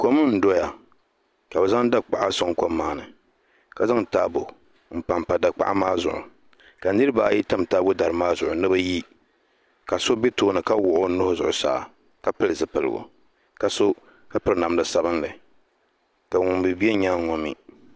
Kom n doya ka bi zaŋ dakpaɣa suaŋ kom maa ni ka zaŋ taabo mpa n pa dakpaɣa maa zuɣu ka niriba ayi. tam taabo dari maa zuɣu ni bi yi ka so bɛ tooni ka wuɣi o nuhi Zuɣusaa ka pili zipiligu ka piri namda sabinli ka ŋuni mi bɛ yɛangi ŋo mi.